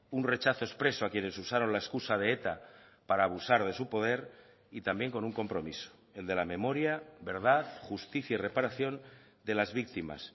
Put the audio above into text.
un rechazo expreso a quienes usaron la excusa de eta para abusar de su poder y también con un compromiso el de la memoria verdad justicia y reparación de las víctimas